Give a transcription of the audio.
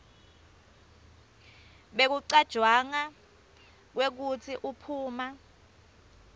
bekucatjwanga kwekutsi uphuma